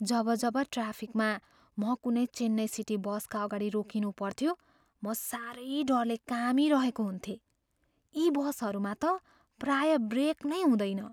जब जब ट्राफिकमा म कुनै चेन्नई सिटी बसका अगाडि रोकिनुपर्थ्यो म सारै डरले कामिरहेको हुन्थेँ। यी बसहरूमा त प्रायः ब्रेक नै हुँदैन।